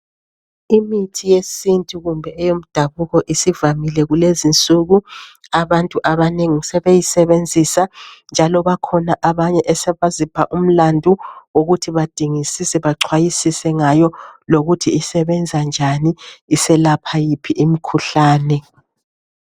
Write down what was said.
Imithi yesintu kumbe eyomdabuko isivamile kulezinsuku abantu abanengi sebeyisebenzisa njalo bakhona abanye esebazipha umlando wokuthi badingisise bachwayisise ngayo lokuthi isebenza njani iselapha yiphi imkhuhlane.